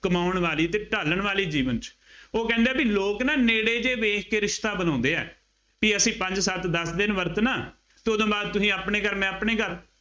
ਕਮਾਉਣ ਵਾਲੇ ਅਤੇ ਢਾਲਣ ਵਾਲੇ ਜੀਵਨ ਚ, ਉਹ ਕਹਿੰਦੇ ਆ ਬਈ ਲੋਕ ਨਾ ਨੇੜੇ ਜਿਹੇ ਵੇਖ ਕੇ ਰਿਸ਼ਤਾ ਬਣਾਉਂਦੇ ਆ, ਕਿ ਅਸੀਂ ਪੰਜ ਸੱਤਾ ਦੱਸ ਦਿਨ ਵਰਤਣਾ ਅਤੇ ਉਦੋਂ ਬਾਅਦ ਤੁਸੀਂ ਆਪਣੇ ਘਰ ਮੈਂ ਆਪਣੇ ਘਰ।